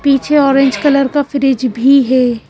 पीछे orange colour का fridge भी है।